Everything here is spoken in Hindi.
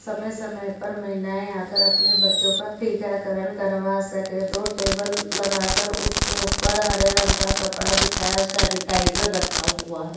समय-समय पर महिलाएं आकर अपने बच्चो का टीकाकरण करवा सके दो टेबल लगाकर उसके ऊपर हरे रंग का कपड़ा बिछाया सैनिटाइजर रखा हुआ है।